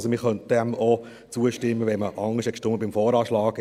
Also, man könnte dem auch zustimmen, wenn man beim VA anders gestimmt hat.